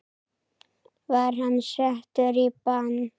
Var hann settur í bann?